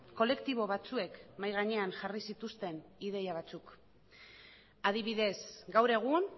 kolektibo batzuek mahai gainean jarri zituzten ideia batzuk adibidez gaur egun